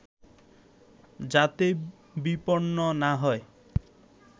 যাতে বিপন্ন না হয়